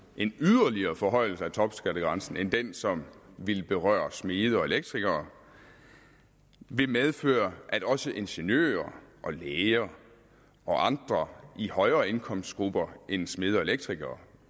en yderligere forhøjelse af topskattegrænsen end den som ville berøre smede og elektrikere ville medføre at også ingeniører og læger og andre i højere indkomstgrupper end smede og elektrikere